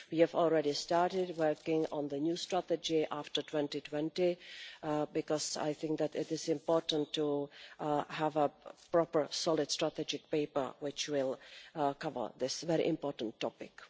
We have already started working on the new strategy after 2020, because I think that it is important to have a proper, solid strategic paper which will cover this very important topic.